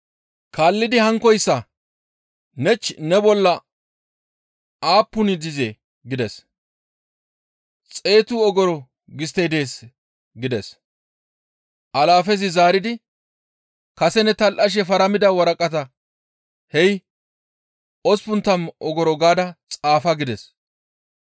«Kaallidi hankkoyssa, ‹Nech, ne bolla aappuni dizee?› gides. ‹Xeetu ogoro gisttey dees› gides; alaafezi zaaridi, ‹Kase ne tal7ashe faramida waraqataa hey osppun tammu ogoro gaada xaafa› gides.